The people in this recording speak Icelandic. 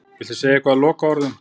Viltu segja eitthvað í lokaorðum?